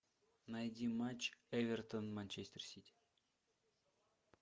найди матч эвертон манчестер сити